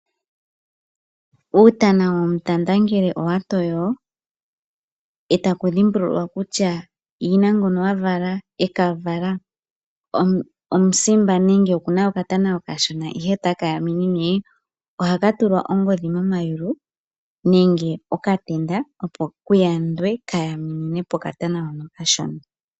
Uutana womutanda ngele owa toyo, eta ku dhimbululwa kutya yina ngono ekavala omusimba nenge oku na oka tana oka shona ihe ota ka yamimnine, oha ka tulwa ongodhi mamayulu nenge oka tenda opo kuyandwe ka yaminine po oka tana hoka oka shona.